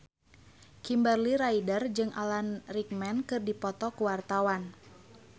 Kimberly Ryder jeung Alan Rickman keur dipoto ku wartawan